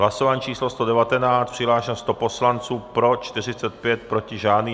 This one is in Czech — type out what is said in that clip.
Hlasování číslo 119, přihlášeno 100 poslanců, pro 45, proti žádný.